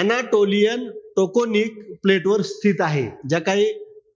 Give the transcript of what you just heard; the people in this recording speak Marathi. Anatolian toconic plate वर स्थित आहे. ज्या काही